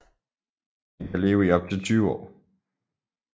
Den kan leve i op til 20 år